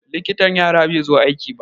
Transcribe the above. Likitan yara bai zo aiki ba.